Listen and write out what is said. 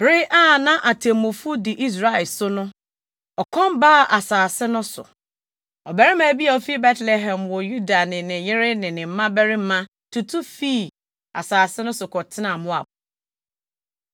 Bere a na atemmufo di Israel so no, ɔkɔm baa asase no so. Ɔbarima bi a ofi Betlehem wɔ Yuda ne ne yere ne ne mmabarima baanu tutu fii asase no so kɔtenaa Moab.